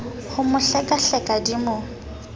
ho mo hlekahleka di mo